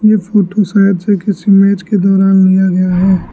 ये फोटो शायद से किसी मैच के दौरान लिया गया है।